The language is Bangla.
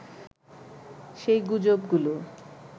সেই গুজবগুলো